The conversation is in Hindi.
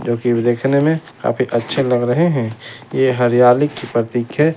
जो कि देखने में काफी अच्छे लग रहे हैं ये कि हरियाली की प्रतीक है।